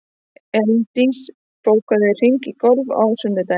Elíndís, bókaðu hring í golf á sunnudaginn.